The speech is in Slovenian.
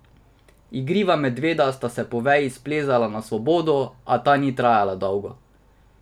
Igriva medveda sta po veji splezala na svobodo, a ta ni trajala dolgo.